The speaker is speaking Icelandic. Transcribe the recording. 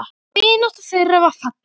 Vinátta þeirra var falleg.